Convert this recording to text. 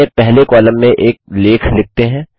अपने पहले कॉलम में एक लेख लिखते हैं